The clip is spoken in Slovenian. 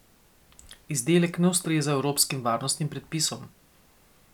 Izdelek ne ustreza evropskim varnostnim predpisom.